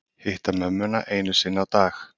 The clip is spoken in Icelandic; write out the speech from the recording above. Hitta mömmuna einu sinni á dag